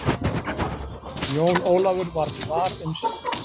Jón Ólafur varð var um sig.